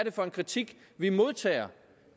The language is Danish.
er for en kritik vi modtager